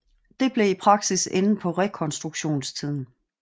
Det blev i praksis enden på rekonstruktionstiden